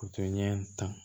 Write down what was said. U tɛ ɲɛ tan